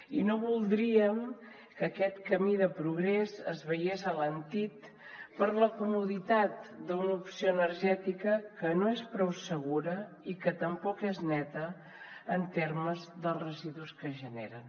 i no voldríem que aquest camí de progrés es veiés alentit per la comoditat d’una opció energètica que no és prou segura i que tampoc és neta en termes dels residus que genera